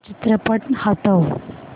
चित्रपट हटव